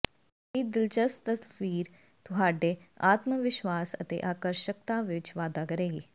ਅਜਿਹੀ ਦਿਲਚਸਪ ਤਸਵੀਰ ਤੁਹਾਡੇ ਆਤਮਵਿਸ਼ਵਾਸ ਅਤੇ ਆਕਰਸ਼ਕਤਾ ਵਿੱਚ ਵਾਧਾ ਕਰੇਗੀ